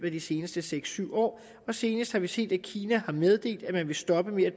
af de seneste seks syv år og senest har vi set at kina har meddelt at man vil stoppe med at